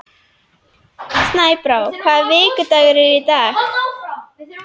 Snæbrá, hvaða vikudagur er í dag?